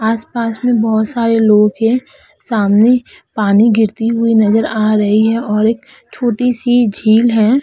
आस पास में बहोत सारे लोग है सामने पानी गिरती हुई नजर आ रही है और एक छोटी सी झील है।